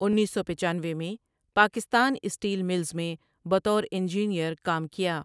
انیسسوپچانوے میں Pakistan steel mills میں بطور انجینیئر کام کیا ۔